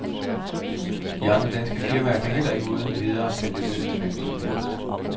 De andre danske firmaer kan heller ikke uden videre sælge løs til hvem som helst.